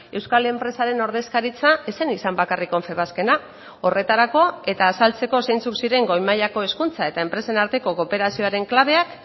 euskal enpresaren ordezkaritza ez zen izan bakarrik confebaskena horretarako eta azaltzeko zeintzuk ziren goi mailako hezkuntza eta enpresen arteko kooperazioaren klabeak